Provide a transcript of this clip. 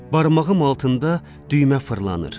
Barmağım altında düymə fırlanır.